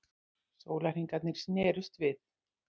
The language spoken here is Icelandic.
Sólarhringarnir snerust við.